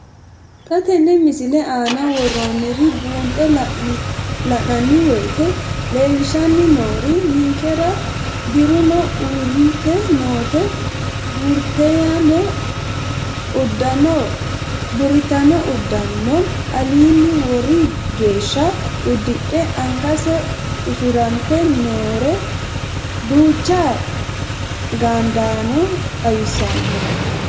Xa tenne missile aana worroonniri buunxe la'nanni woyiite leellishshanni noori ninkera dirunno uurrite noore burrittaame udano alinni wori geeshsha uddidhe angansa usurante noore duucha gaadaano xawissanno.